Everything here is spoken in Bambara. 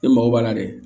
Ne mago b'a la dɛ